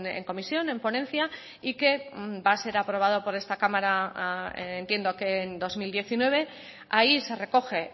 en comisión en ponencia y que va a ser aprobado por esta cámara entiendo que en dos mil diecinueve ahí se recoge